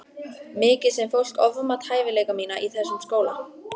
Mikið sem fólk ofmat hæfileika mína í þessum skóla.